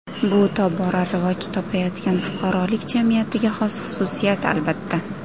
Bu tobora rivoj topayotgan fuqarolik jamiyatiga xos xususiyat, albatta.